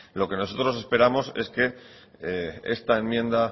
lo que nosotros esperamos es que esta enmienda